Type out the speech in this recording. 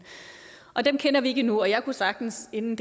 dem kender vi ikke endnu og jeg kunne sagtens inden